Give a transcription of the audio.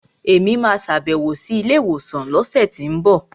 Èmi máa sàbẹ̀wò sí ilé ìwòsàn lọ́sẹ̀tínbọ̀